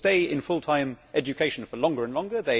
People stay in full time education for longer and longer.